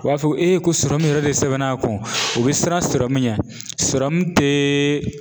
U b'a fɔ ko e ko yɛrɛ de sɛbɛnna kun, u be siran ɲɛ. te